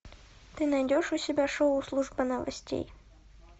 ты найдешь у себя шоу служба новостей